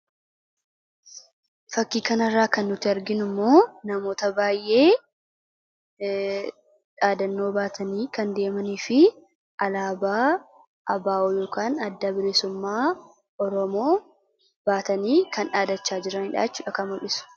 Fakkii kana irraa kan nuti arginu namoota baay'ee dhaadannoo barreeffamaan baatanii deemanii fi alaabaa Adda Bilisummaa Oromoo(ABO) baatanii dhaadachaa jiran mul'isa.